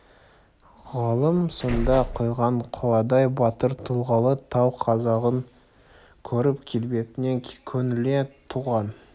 ғалым сонда құйған қоладай батыр тұлғалы тау қазағын көріп келбетіне көңілі толған